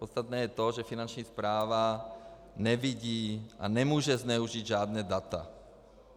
Podstatné je to, že Finanční správa nevidí a nemůže zneužít žádná data.